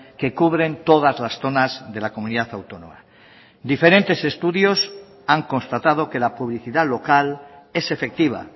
que cubren todas las zonas de la comunidad autónoma diferentes estudios han constatado que la publicidad local es efectiva